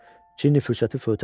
Cini fürsəti fövtə vermədi.